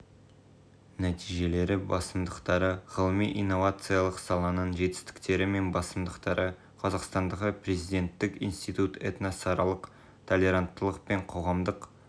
нәтижелері мен басымдықтары ғылыми-инновациялық саланың жетістіктері мен басымдықтары қазақстандағы президенттік институт этносаралық толеранттылық пен қоғамдық